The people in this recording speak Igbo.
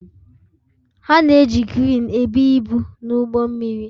Ha na-eji kreenị ebu ibu n'ụgbọ mmiri